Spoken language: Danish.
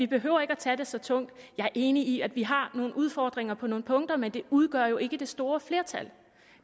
behøver at tage det så tungt jeg er enig i at vi har nogle udfordringer på nogle punkter men det udgør jo ikke det store flertal